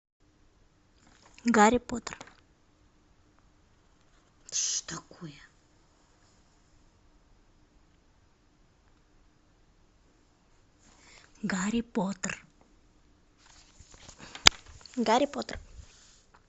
гарри поттер что такое гарри поттер гарри поттер